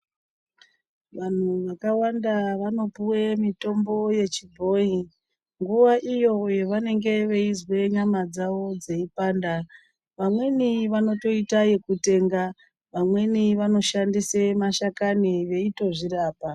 Vanhu vakawanda vanopuwe mitombo yechibhoyi nguva iyo yavanenge veizwe nyama dzavo dzeipanda vamweni vanotoita yekutenga vamweni vanoshandise mashakani veitozvirapa.